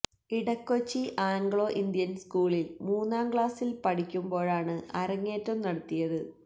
Edakochi Anglo Indian സ്കൂളിൽ മൂന്നാം ക്ലാസിൽ പഠിക്കുമ്പോഴാണ് അരങ്ങേറ്റം നടത്തിയത്